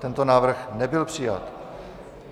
Tento návrh nebyl přijat.